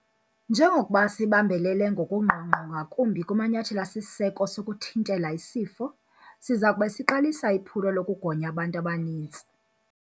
Njengokuba sibambelela ngokungqongqo ngakumbi kumanyathelo asisiseko sokuthintela isifo, siza kube siqalisa iphulo lokugonya abantu abanintsi.